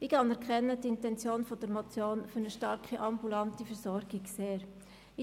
Ich schätze die Intention der Motion, sich für eine starke ambulante Versorgung einzusetzen, sehr.